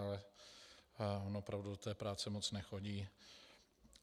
Ale on opravdu do té práce moc nechodí.